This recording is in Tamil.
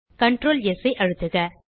Ctrl ஸ் ஐ அழுத்துக